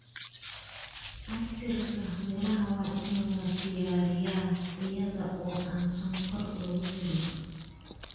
Casiirka miraha waa in la diyaariyaa iyada oo aan sonkor lagu darin.